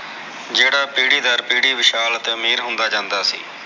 ਜਿਹੜਾ ਪੀੜੀ ਡਰ ਪੀੜੀ ਵਿਸਲ ਅਤੇ ਮੇਹਰ ਹੁੰਦਾ ਜਾਂਦਾ ਸੀ